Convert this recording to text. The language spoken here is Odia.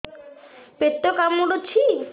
ପେଟ କାମୁଡୁଛି